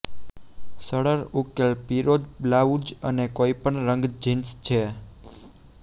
સરળ ઉકેલ પીરોજ બ્લાઉઝ અને કોઈપણ રંગ જિન્સ છે